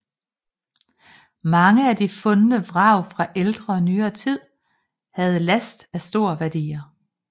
Mange af de fundne vrag fra ældre og nyere tid havde last af store værdier